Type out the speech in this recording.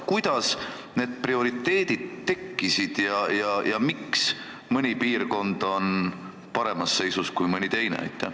Kuidas on need prioriteedid tekkinud ja miks on mõni piirkond paremas seisus kui mõni teine?